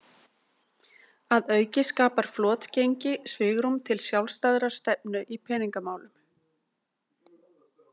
Að auki skapar flotgengi svigrúm til sjálfstæðrar stefnu í peningamálum.